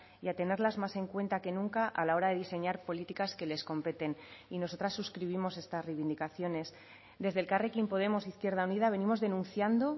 y a tenerlas más en cuenta que nunca a la hora de diseñar políticas que les competen y nosotras suscribimos estas reivindicaciones desde elkarrekin podemos izquierda unida venimos denunciando